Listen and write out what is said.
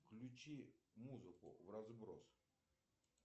включи музыку вразброс